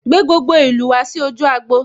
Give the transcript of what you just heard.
Gbé gbogbo ìlú ìlú wá sí ojú agbo'